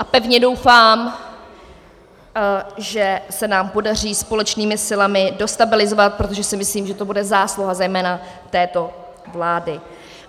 A pevně doufám, že se nám podaří společnými silami dostabilizovat, protože si myslím, že to bude zásluha zejména této vlády.